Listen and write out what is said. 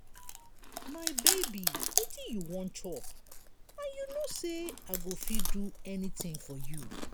my baby wetin you wan chop and you no say i go fit do anything for you.